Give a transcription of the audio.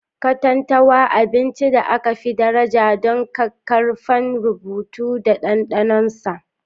Katantanwa: Abincin da aka fi daraja don ƙaƙƙarfan rubutu da ɗanɗanon sa.